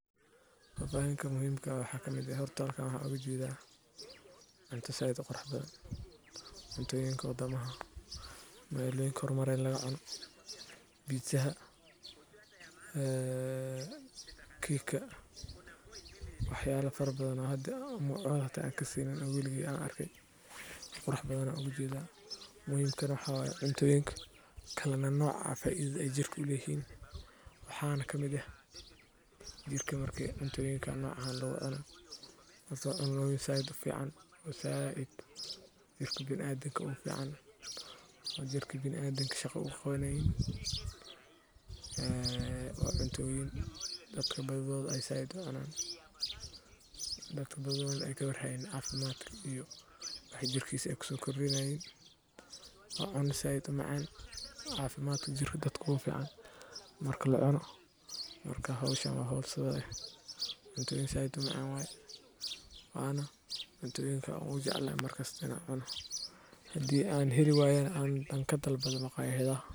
Fafahinta muhimka aha horta waxa kamid ah halkan waxan oga jedaaa cunta zaid u qurux badan, cuntada waa qayb muhiim ah oo ka mid ah cunnooyinka laga helo suuqyada, kuwaas oo ka buuxa nafaqooyin u wanaagsan jirka bini’aadamka. Suuqyada magaalooyinka iyo tuulooyinka waxaa laga helaa noocyo badan oo miro ah sida tufaaxa, muuska, babaayga, cambe, liin iyo miro kale, iyo sidoo kale khudaar kala duwan sida yaanyo,